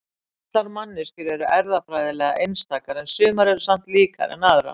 Allar manneskjur eru erfðafræðilega einstakar en sumar eru samt líkari en aðrar.